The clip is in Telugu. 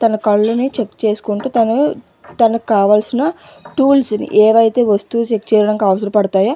తన కళ్ళని చెక్ చేసుకుంటూ తను తనకి కావలిసిన టూల్స్ ని అవి అయతె వస్తువుని చెక్ చేయడానికి అవసర పడుతాయో --